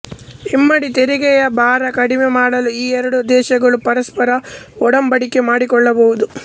ಇಮ್ಮಡಿ ತೆರಿಗೆಯ ಭಾರ ಕಡಿಮೆ ಮಾಡಲು ಈ ಎರಡೂ ದೇಶಗಳು ಪರಸ್ಪರ ಒಡಂಬಡಿಕೆ ಮಾಡಿಕೊಳ್ಳಬಹುದು